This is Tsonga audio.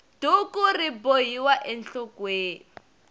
duku ri bohiwa enhlokweni